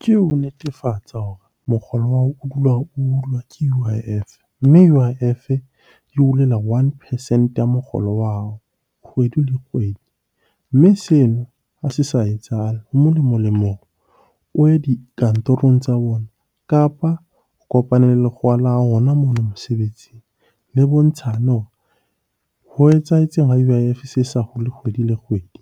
Ke ho netefatsa hore mokgolo wa hao o dula hulwa ke U_I_F. Mme U_I_F-e e hulela one percent ya mokgolo wa hao kgwedi le kgwedi. Mme seno ha se sa etsahale, ho molemo-lemo o ye dikantorong tsa bona kapa o kopane le lekgowa la hao hona mono mosebetsing. Le bontshane hore ho etsahetseng ha U_I_F se sa hule kgwedi le kgwedi.